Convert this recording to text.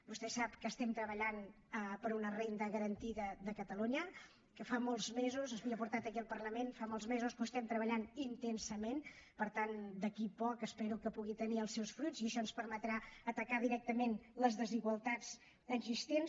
vostè sap que treballem per a una renda garantida de catalunya que fa molts mesos s’havia portat aquí al parlament fa molts mesos que ho estem treballant intensament per tant d’aquí a poc espero que pugui tenir els seus fruits i això ens permetrà atacar directament les desigualtats existents